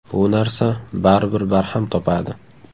Bu narsa baribir barham topadi.